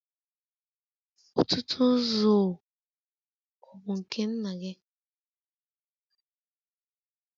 Ọ̀tụ̀tụ̀zụ̀ ọ̀ bụ nke nna gị?